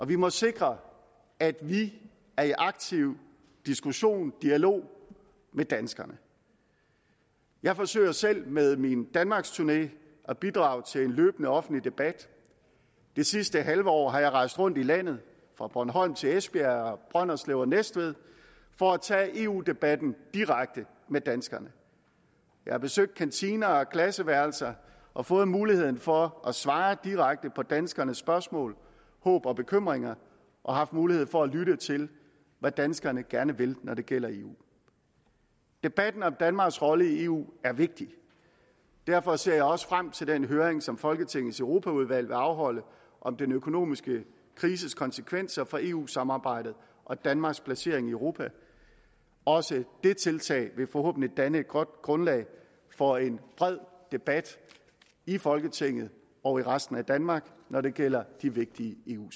vi må sikre at vi er i aktiv diskussion og dialog med danskerne jeg forsøger selv med min danmarksturné at bidrage til en løbende offentlig debat det sidste halve år har jeg rejst rundt i landet fra bornholm til esbjerg brønderslev og næstved for at tage eu debatten direkte med danskerne jeg har besøgt kantiner og klasseværelser og fået muligheden for at svare direkte på danskernes spørgsmål håb og bekymringer og har haft mulighed for at lytte til hvad danskerne gerne vil når det gælder eu debatten om danmarks rolle i eu er vigtig derfor ser jeg også frem til den høring som folketingets europaudvalg vil afholde om den økonomiske krises konsekvenser for eu samarbejdet og danmarks placering i europa også det tiltag vil forhåbentlig danne et godt grundlag for en bred debat i folketinget og i resten af danmark når det gælder de vigtige eu